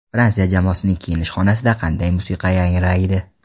Fransiya jamoasining kiyinish xonasida qanday musiqa yangraydi?